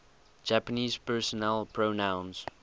japanese personal pronouns